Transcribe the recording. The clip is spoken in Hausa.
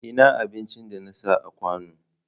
Ina abincin da na sa a kawon?